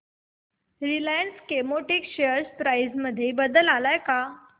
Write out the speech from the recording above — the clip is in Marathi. रिलायन्स केमोटेक्स शेअर प्राइस मध्ये बदल आलाय का